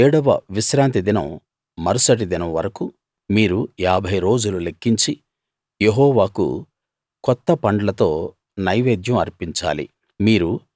ఏడవ విశ్రాంతి దినం మరుసటి దినం వరకూ మీరు ఏభై రోజులు లెక్కించి యెహోవాకు కొత్త పండ్లతో నైవేద్యం అర్పించాలి